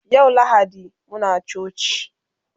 yau lahadi Muna coci